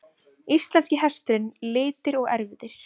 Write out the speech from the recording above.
Íslenski hesturinn- litir og erfðir.